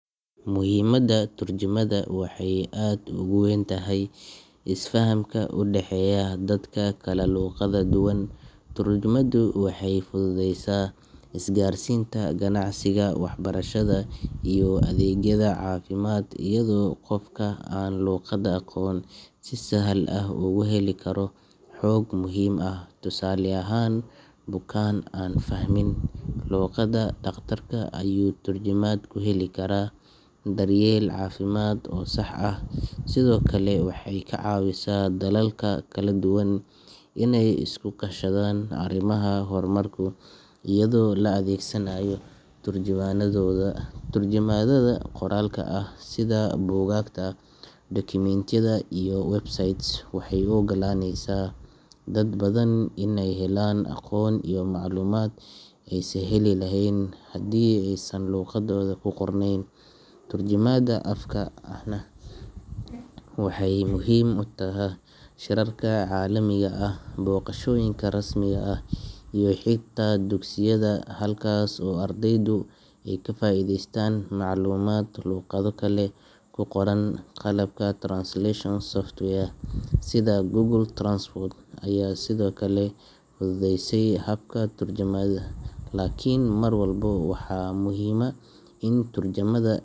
muhimadda turjumaadda waxay aad ugu weyn tahay isfahamka u dhexeeya dadka kala luqadda duwan turjumaaddu waxay fududeysa isgaarsiinta, ganacsiga, waxbarashada, iyo adeegyada caafimaad iyadoo qofka aan luqadda aqoon si sahal ah ugu heli karo xog muhiim ah tusaale ahaan bukaan aan fahmin luqadda dhakhtarka ayuu turjumaad ku heli karaa daryeel caafimaad oo sax ah sidoo kale waxay ka caawisaa dalalka kala duwan inay iska kaashadaan arrimaha horumarka iyadoo la adeegsanayo turjubaanadooda turjumaadda qoraalka ah sida buugaagta, dukumiintiyada, iyo websites waxay u ogolaaneysaa dad badan inay helaan aqoon iyo macluumaad aysan heli lahayn haddii aysan luqaddooda ku qorneyn turjumaadda afka ahna waxay muhiim u tahay shirarka caalamiga ah, booqashooyinka rasmi ah, iyo xitaa dugsiyada halkaas oo ardaydu ay ka faa'iidaystaan macluumaad luqado kale ku qoran qalabka translation software sida Google Translate ayaa sidoo kale fududeeyay habka turjumaadda laakiin mar walba waxaa muhiima in turjumaadda.